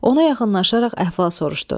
Ona yaxınlaşaraq əhval soruşdu.